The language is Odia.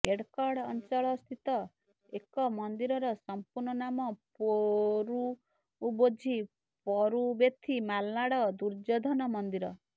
ଏଡକ୍କଡ ଅଂଚଳ ସ୍ଥିତ ଏକ ମନ୍ଦିରର ସମ୍ପୂର୍ଣ୍ଣ ନାମ ପୋଋବୋଝୀ ପରୁବେଥୀ ମଲନାଡ ଦୁର୍ଯ୍ୟଧନ ମନ୍ଦିର